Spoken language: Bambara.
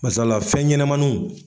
Masala fɛn ɲɛnɛmaninw.